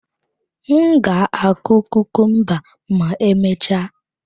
M ga-akụ kukumba ma emechaa.